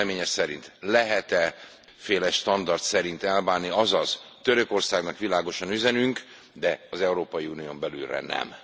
Az Ön véleménye szerint lehet e kétféle standard szerint eljárni, azaz Törökországnak világosan üzenünk, de az Európai Unión belülre nem.